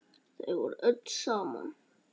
Þau voru öll saman.